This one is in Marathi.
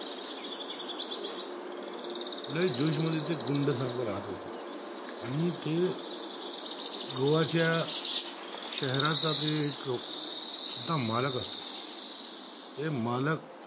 लाय जोश मध्ये ते गुंड सारखा होत होता आणि ते गोवाच्य शहराचा ते एक मलाक असतो ते मलाक